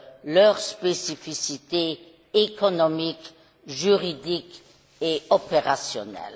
leur spécificité économique, juridique et opérationnelle.